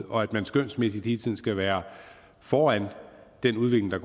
og at man skønsmæssigt hele tiden skal være foran den udvikling der